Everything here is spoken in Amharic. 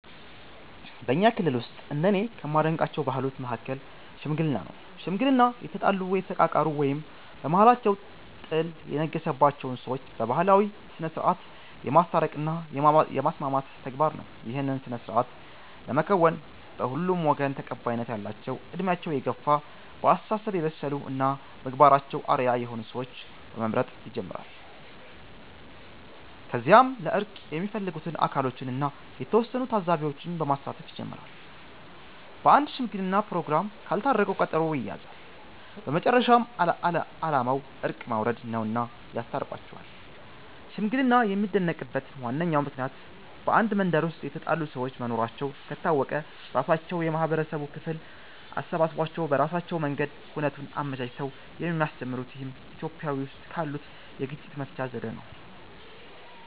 በኛ ክልል ውስጥ እንደኔ ከማደንቃቸው ባህሎች መሀከል "ሽምግልና" ነው። ሽምግልና የተጣሉ፣ የተቃቃሩ እና በመሃላቸው ጥል የነገሰባቸውን ሰዎች በባህላዊ ስነስርዓት የማስታረቅ እና የማስማማት ተግባር ነው። ይህን ስነስርዓት ለመከወን በሁለቱም ወገን ተቀባይነት ያላቸው በእድሜያቸው የገፍ፣ በአስተሳሰብ የበሰሉ እና በምግባራቸው አርአያ የሆኑ ሰዎችን በመምረጥ ይጀምራል። ከዚያም ለእርቅ የሚፈለጉት አካሎችን እና የተወሰኑ ታዛቢዎች በማሳተፍ ይጀመራል። በአንድ ሽምግለና ፕሮግራም ካልታረቁ ቀጠሮ ይያያዛል። በመጨረሻም አላማው እርቅ ማውረድ ነውና ያስታርቋቸዋል። ሽምግልና የሚደነቅበት ዋነኛው ምክንያት በአንድ መንደር ውስጥ የተጣሉ ሰዎች መኖራቸው ከታወቀ ራሳቸው የማህበረሰቡ ክፍል አሳስቧቸው በራሳቸው መንገድ ሁነቱን አመቻችተው የሚያስጀምሩት ይህም ኢትዮጵያዊ ውስጥ ካሉት የግጭት መፍቻ ዘዴ ነው።